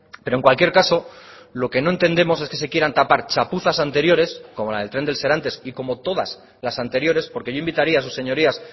pero en cualquier caso lo que no entendemos es que se quieran tapar chapuzas anteriores como la del tren del serantes y como todas las anteriores porque yo invitaría a sus señorías